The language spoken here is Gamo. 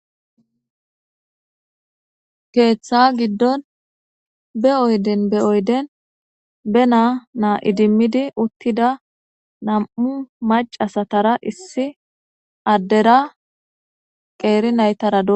keeththa giddon be oyden be oyden be naa naa idimmidi uttida nam7u macasatara issi addera qeeri naytarad